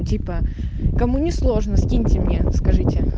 типа кому не сложно скиньте мне скажите